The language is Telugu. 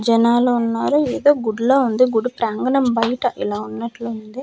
జనాలు వున్నారు ఏదో గుడ్లా వుంది గుడి ప్రాంగణం బైట ఇలా వున్నట్లు వుంది.